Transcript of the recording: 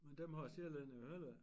Men dem har sjællændere jo heller æ